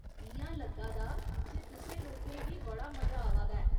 इ'यां लग्गा दा जे तुसें लोकें गी बड़ा मजा आवा दा ऐ।